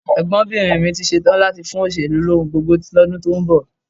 Ẹ̀gbọ́nbìnrin mi ti ṣetán láti fún òṣèlú lóhun gbogbo lọ́dún tó ń bọ̀